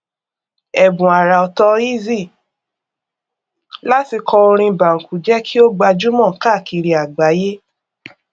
ẹbùn àràọtọ eazi láti kọ orin banku jẹ kí ó gbajúmọ káàkiri àgbáyé